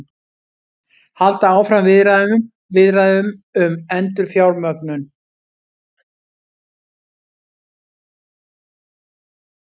Halda áfram viðræðum um endurfjármögnun